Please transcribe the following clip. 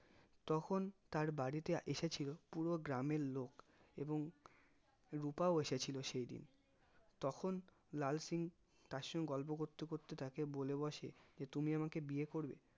তখন তার বাড়ি তে এসেছিলো পুরো গ্রামের লোক এবং রুপাও এসেছিলো সেইদিন তখন লাল সিং তার সাথে গল্প করতে করতে তাকে বলে বসে যে তুমি আমাকে বিয়ে করবে